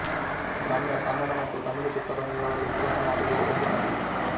ರಮ್ಯಾ ಕನ್ನಡ ಮತ್ತು ತಮಿಳು ಚಿತ್ರರಂಗಗಳಲ್ಲಿ ಕೆಲಸ ಮಾಡಿರುವ ಒಬ್ಬ ನಟಿ